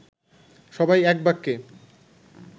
সবাই এক বাক্যে